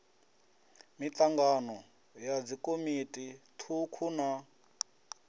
mitangano ya dzikomiti thukhu na